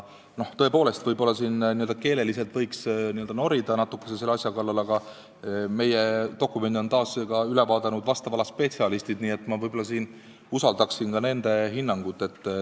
Tõepoolest, võib-olla keeleliselt võiks natuke selle asja kallal norida, aga meie dokumendi on üle vaadanud vastava ala spetsialistid, nii et ma võib-olla usaldan nende hinnangut.